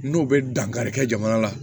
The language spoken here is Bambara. N'o bɛ dankarikɛ jamana la